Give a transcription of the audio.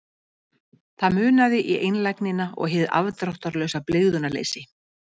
Það munaði í einlægnina og hið afdráttarlausa blygðunarleysi.